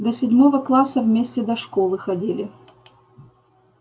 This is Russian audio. до седьмого класса вместе до школы ходили